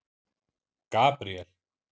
Gabríel